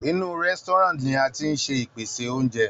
Inú Restaurant ni a tíí ṣe ìpèsè oúnjẹ.